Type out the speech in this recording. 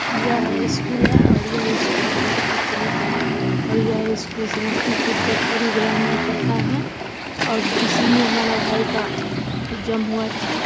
यह स्कूल है और यह स्कूल बहोत ही प्रचलित है और यह स्कूल समस्तीपुर करपुरी ग्राम मे पड़ता है और इसी मे हमारा भाई का एग्जाम हुआ था।